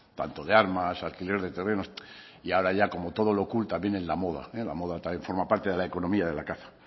tanto de armas alquiler de terrenos y ahora ya como todo lo cool también en la moda la moda también forma parte de la economía de la caza